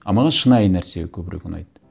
а маған шынайы нәрсе көбірек ұнайды